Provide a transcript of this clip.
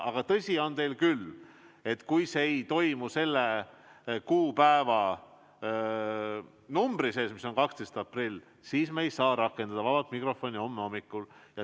Aga tõsi on, et kui see ei toimu sellel kuupäeval, mis on 12. aprill, siis me ei saa rakendada vaba mikrofoni homme hommikul.